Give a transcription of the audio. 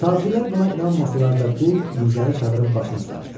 Tacirlər buna inanmasalar da, qul nizəni çadırın başına sancdı.